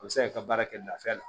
O bɛ se k'i ka baara kɛ lafiya la